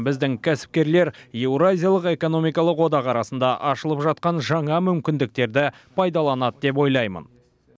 біздің кәсіпкерлер еуразиялық экономикалық одақ арасында ашылып жатқан жаңа мүмкіндіктерді пайдаланды деп ойлаймын